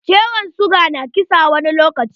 Ciwon siga na kisa wani lokaci.